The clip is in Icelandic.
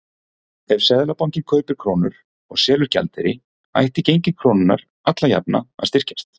Ef Seðlabankinn kaupir krónur og selur gjaldeyri ætti gengi krónunnar alla jafna að styrkjast.